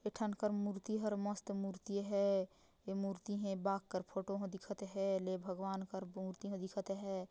एथनकर मूर्ति हर मस्त मूर्ति है ए मूर्ति है बाग कर फोटो ह दिखत है ले भगवान कर मूर्ति ह दिखत है।